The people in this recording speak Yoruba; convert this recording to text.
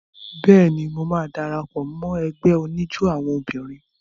Bẹ́ẹ̀ni, mo máa dara pọ̀ mọ́ ẹgbẹ́ oníjó àwọn obìnrin.